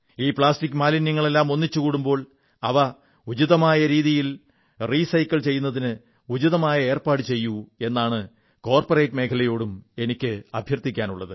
ഈ പ്ലാസ്റ്റിക് മാലിന്യങ്ങളെല്ലാം ഒന്നിച്ചൂകൂടുമ്പോൾ അവ ഉചിതമായ രീതിയിൽ ഇല്ലാതെയാക്കുന്നതിന് ഉചിതമായ ഏർപ്പാടു ചെയ്യൂ എന്നാണ് കോർപ്പറേറ്റ് മേഖലയോടും എനിക്ക് അഭ്യർഥിക്കാനുള്ളത്